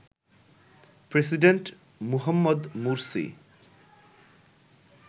president Mohammed Morsi